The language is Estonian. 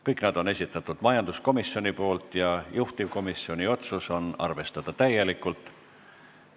Need kõik on esitanud majanduskomisjon ja juhtivkomisjoni otsus on neid arvestada täielikult.